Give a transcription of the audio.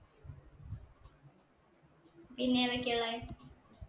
ഇനി ഏതൊക്കെയാ ഉള്ളെ